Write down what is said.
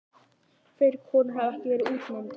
Fleiri konur hafa ekki verið útnefndar.